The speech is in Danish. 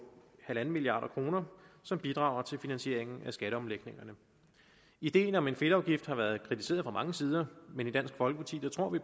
en milliard kr som bidrager til finansieringen af skatteomlægningerne ideen om en fedtafgift har været kritiseret fra mange sider men i dansk folkeparti tror vi